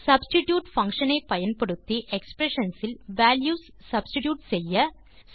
substitute function ஐ பயன்படுத்தி expressions இல் வால்யூஸ் சப்ஸ்டிட்யூட் செய்ய